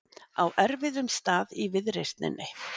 Á erfiðum stað í viðreisninni